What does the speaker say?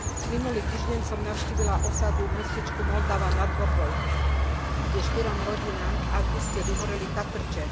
Minulý týždeň som navštívila osadu v mestečku Moldava nad Bodvou, kde štyrom rodinám v auguste vyhoreli chatrče.